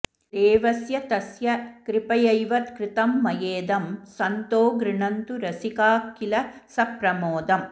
देवस्य तस्य कृपयैव कृतं मयेदं सन्तो गृणन्तु रसिकाः किल सप्रमोदम्